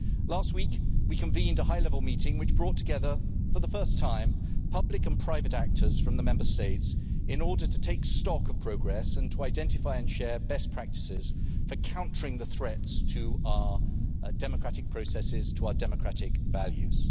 Last week, we convened a high level meeting which brought together, for the first time, public and private actors from the Member States in order to take stock of progress and to identify and share best practices for countering the threats to our democratic processes and our democratic values.